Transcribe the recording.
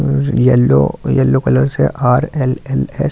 yellow yellow colour से R L L S औ--